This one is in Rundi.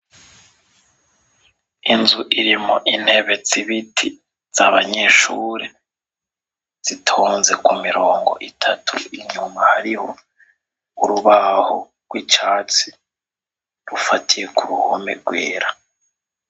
Inzu irimwo intebe zibiti zabanyeshure zitonze kumirongo itatu inyuma hariho urubaho rwicatsi rufatiye kuruhome rwera.